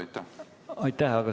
Aitäh!